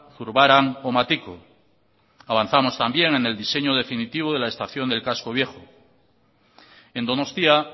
zurbaran o matiko avanzamos también en el diseño definitiva de la estación del casco viejo en donostia